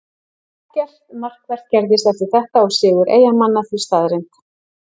Ekkert markvert gerðist eftir þetta og sigur Eyjamanna því staðreynd.